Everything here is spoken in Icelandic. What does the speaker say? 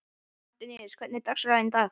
Antoníus, hvernig er dagskráin í dag?